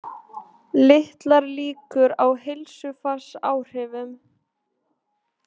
Litlar líkur á heilsufarsáhrifum